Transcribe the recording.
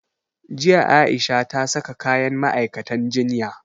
Jiya A'isha ta saka kayan ma'aikatan jinya.